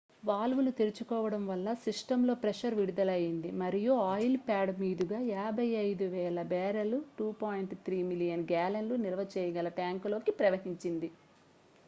వాల్వులు తెరుచుకోవడం వల్ల సిస్టమ్ లో ప్రెషర్ విడుదలయ్యింది మరియు ఆయిల్ ప్యాడ్ మీదుగా 55,000 బ్యారెల్స్ 2.3 మిలియన్ గ్యాలన్లు నిల్వచేయగల ట్యాంకులోకి ప్రవహించింది